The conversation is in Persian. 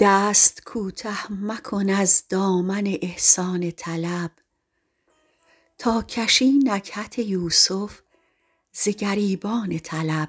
دست کوته مکن از دامن احسان طلب تا کشی نکهت یوسف ز گریبان طلب